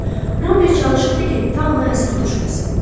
Ramberg çalışırdı ki, ta ona əsir düşməsin.